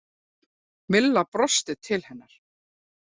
Milla brosti til hennar.